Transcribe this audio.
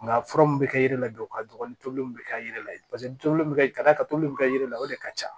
Nka fura mun bɛ kɛ yiri la dɔrɔn ka dɔgɔ ni tobiliw bɛ kɛ yiri la paseke toliw be kɛ ka d'a ka toli bi ka kɛ la o de ka ca